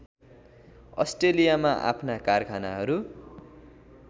अस्ट्रेलियामा आफ्ना कारखानाहरू